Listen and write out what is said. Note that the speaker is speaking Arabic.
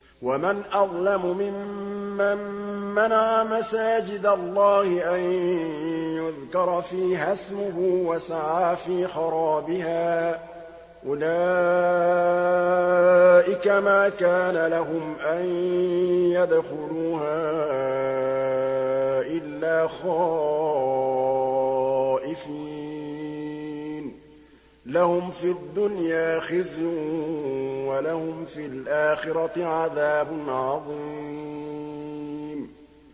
وَمَنْ أَظْلَمُ مِمَّن مَّنَعَ مَسَاجِدَ اللَّهِ أَن يُذْكَرَ فِيهَا اسْمُهُ وَسَعَىٰ فِي خَرَابِهَا ۚ أُولَٰئِكَ مَا كَانَ لَهُمْ أَن يَدْخُلُوهَا إِلَّا خَائِفِينَ ۚ لَهُمْ فِي الدُّنْيَا خِزْيٌ وَلَهُمْ فِي الْآخِرَةِ عَذَابٌ عَظِيمٌ